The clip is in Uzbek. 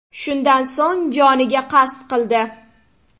Shundan so‘ng joniga qasd qildi.